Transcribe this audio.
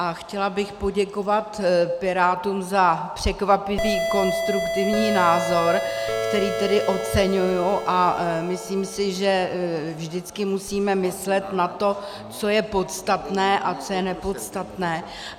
A chtěla bych poděkovat Pirátům za překvapivý konstruktivní názor, který tedy oceňuji, a myslím si, že vždycky musíme myslet na to, co je podstatné a co je nepodstatné.